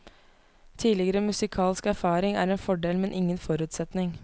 Tidligere musikalsk erfaring er en fordel men ingen forutsetning.